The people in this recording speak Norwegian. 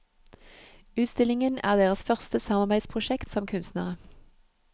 Utstillingen er deres første samarbeidsprosjekt som kunstnere.